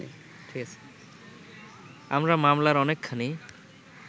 আমরা মামলার অনেকখানি